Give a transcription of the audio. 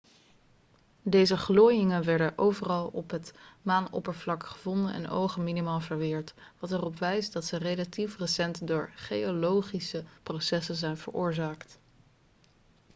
deze glooiingen werden overal op het maanoppervlak gevonden en ogen minimaal verweerd wat erop wijst dat ze relatief recent door geologische processen zijn veroorzaakt